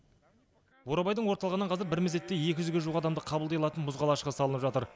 бурабайдың орталығынан қазір бір мезетте екі жүзге жуық адамды қабылдай алатын мұз қалашығы салынып жатыр